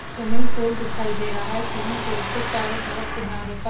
swimming pool दिखाई दे रहा है स्विमिंग पूल के चारों तरफ किनारो पर--